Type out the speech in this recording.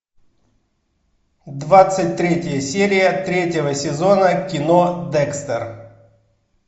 двадцать третья серия третьего сезона кино декстер